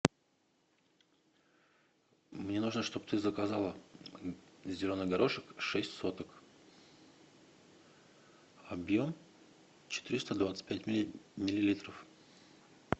мне нужно чтобы ты заказала зеленый горошек шесть соток объем четыреста двадцать пять миллилитров